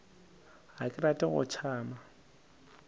ga ke rate go tšama